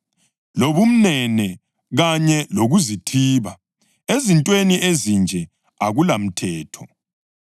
lobumnene kanye lokuzithiba. Ezintweni ezinje akulamthetho.